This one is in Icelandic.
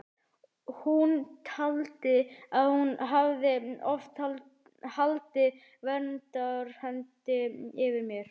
Hún taldi að hann hefði oft haldið verndarhendi yfir mér.